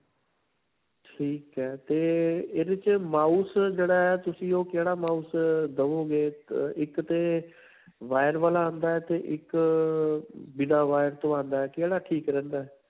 ਠੀਕ ਹੈ ਤੇ ਇਹਦੇ 'ਚ mouse ਜਿਹੜਾ ਹੈ, ਤੁਸੀਂ ਉਹ ਕਿਹੜਾ mouse ਅਅ ਦਿਵੋਗੇ? ਕ ਇੱਕ ਤੇ wire ਵਾਲਾ ਆਉਂਦਾ ਹੈ ਤੇ ਇੱਕ ਅਅ ਬਿਨਾ wire ਤੋ ਆਉਂਦਾ ਹੈ. ਕਿਹੜਾ ਠੀਕ ਰਹਿੰਦਾ ਹੈ?